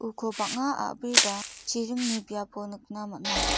uko bang·a a·bri ba chiringni biapo nikna man·a.